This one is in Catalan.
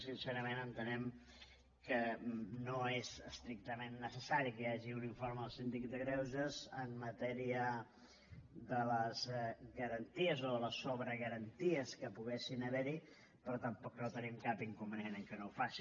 sincerament entenem que no és estrictament necessari que hi hagi un informe del síndic de greuges en matèria de les garanties o de les sobregaranties que poguessin haver hi però tampoc no tenim cap inconvenient que no ho faci